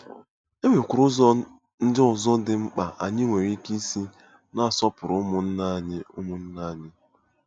E nwekwara ụzọ ndị ọzọ dị mkpa anyị nwere ike isi na-asọpụrụ ụmụnna anyị ụmụnna anyị.